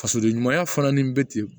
Fasoden ɲumanya fana ni bɛ ten